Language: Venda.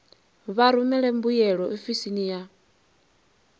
vha rumele mbuyelo ofisini ya